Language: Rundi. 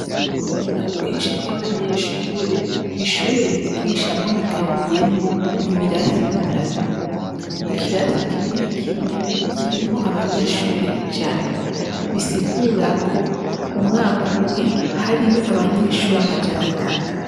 Kubera ubwinshi bw'abanyeshure, ishure nigishamwo rigabuyemwo ibirasi bitatu, ikirasi kimwe kimwe kirimwo abanyeshure ijana, bisigura ko umwaka umwe hariyo abanyeshure amajana atatu.